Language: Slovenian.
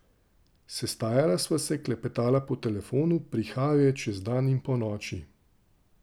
Sestajala sva se, klepetala po telefonu, prihajal je čez dan in ponoči.